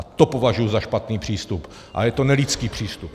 A to považuji za špatný přístup a je to nelidský přístup.